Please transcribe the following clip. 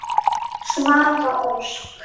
Svava Ósk.